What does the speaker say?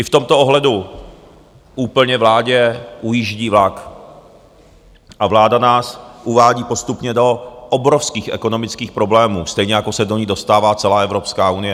I v tomto ohledu úplně vládě ujíždí vlak a vláda nás uvádí postupně do obrovských ekonomických problémů, stejně jako se do nich dostává celá Evropská unie.